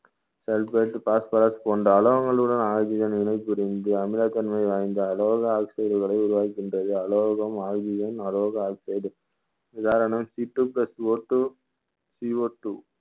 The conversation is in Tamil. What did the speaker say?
sulphate, phosphorus போன்ற அலோகங்களுடன் ஆகிய நிலை அமிலத்தன்மை வாய்ந்த அலோக oxide களை உருவாகின்றது அலோகம் oxygen அலோக oxide உதாரணம் Ctwo plusOtwoCOtwo